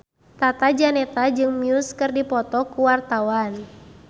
Tata Janeta jeung Muse keur dipoto ku wartawan